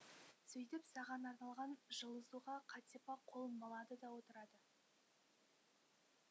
сөйтіп саған арналған жылы суға қатипа қолын малады да отырады